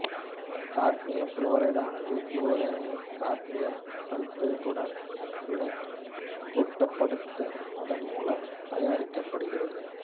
cadmium புளோரைடானது புளோரினை cadmium சல்பைடுடன் வினைக்குட்படுத்துவதன் மூலமும் தயாரிக்கப்படுகிறது